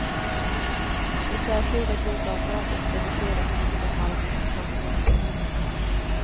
Det särskilda grundavdraget reduceras i vissa fall vid pensionsinkomster.